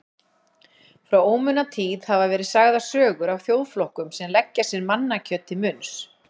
Frá ómunatíð hafa verið sagðar sögur af þjóðflokkum sem leggja sér mannakjöt til munns.